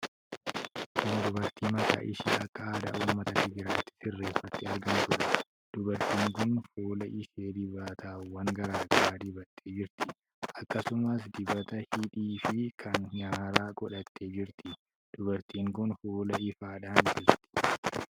Kun dubartii mataa ishee akka aadaa ummata Tigiraayitti sirreeffattee argamtuudha. Dubartiin kun fuula ishee dibatawwan garaa garaa dibattee jirti. Akkasumas dibata hidhii fi kan nyaaraa godhattee jirti. Dubartiin kun fuulaa ifaadhaan jirti.